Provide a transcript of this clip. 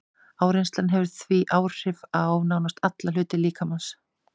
Áreynsla hefur því áhrif á nánast alla hluta líkamans.